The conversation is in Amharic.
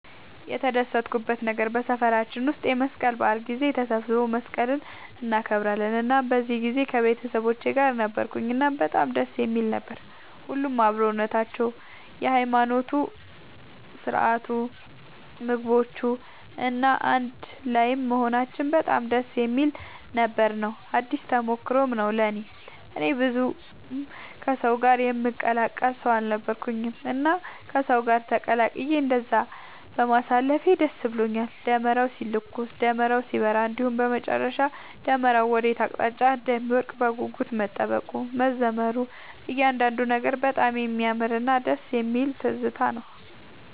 የተደሰትኩበት ነገር በሰፈራችን ውስጥ የመስቀል በዓል ጊዜ ተሰባስበው መስቀልን እናከብራለን እናም በዚህ ጊዜ ከቤተሰቦቼ ጋር ነበርኩኝ እናም በጣም ደስ የሚል ነበር። ሁሉም አብሮነታቸው፣ የሃይማኖታዊ ስርዓቱ፣ ምግቦቹ፣ እና አንድ ላይም መሆናችን በጣም ደስ የሚል ነበር ነው። አዲስ ተሞክሮም ነው ለእኔ። እኔ ብዙም ከሰው ጋር የምቀላቀል ሰው አልነበርኩኝም እና ከሰው ጋር ተቀላቅዬ እንደዛ በማሳለፌ ደስ ብሎኛል። ደመራው ሲለኮስ፣ ደመራው ሲበራ እንዲሁም በመጨረሻ ደመራው ወዴት አቅጣጫ እንደሚወድቅ በጉጉት መጠበቁ፣ መዘመሩ እያንዳንዱ ነገር በጣም የሚያምርና ደስ የሚል ትዝታ ነው።